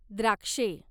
द्राक्षे